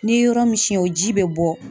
N'i ye yɔrɔ min siyɛn o ji bɛ bɔ.